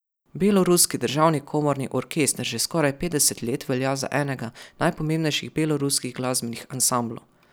Beloruski državni komorni orkester že skoraj petdeset let velja za enega najpomembnejših beloruskih glasbenih ansamblov.